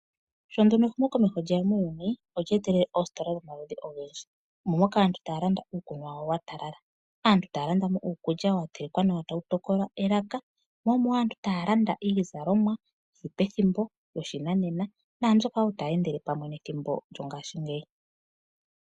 Sho ehumo komeho lyeya olyetelele oositola dhomaludhi ogendji. Moka aantu taya landa uukunwa wayo watalala nawa. Aantu ta yalanda uukulya watelekwa nawa tawu tokola elaka. Aantu taya landa iizalomwa yoshinanena nambyoka tayi endele pamwe nethimbo lyongashingeyi.